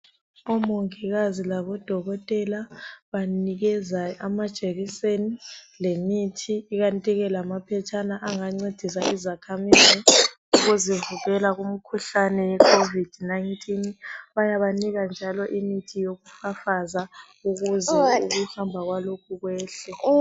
Omongikazi labodokotela banikeza amajekiseni lemithi ikandike lamaphetshana angancedisa izakhamizi ukuzivikela kumkhuhlane yecovid 19. Bayabanika njalo imithi yokufafaza ukuze ukuhamba kwalokhu kwehle.